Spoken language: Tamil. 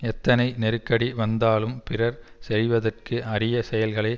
எத்தனை நெருக்கடி வந்தாலும் பிறர் செய்வதற்கு அரிய செயல்களை